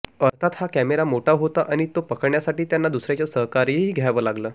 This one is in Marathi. अर्थात हा कॅमेरा मोठा होता आणि तो पकडण्यासाठी त्यांना दुसऱ्याचं सहकार्यही घ्यावं लागलं